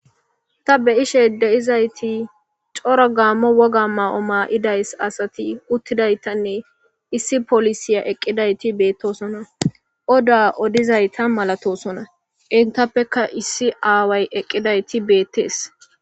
ta be7ishe de7izayti coro gaammo woga maa7o maa7idays asati uttidaytanne issi polisiya eqqidayti beettosona oda odizayta malatosona entappeka issi aaway eqqidayti beettees.